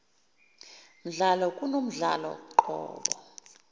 mdlalo kunomdlalo qobo